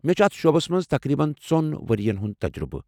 مےٚ چُھ اتھ شعبس منٛز تقریبن ژۄن ورین ہُنٛد تجرُبہٕ۔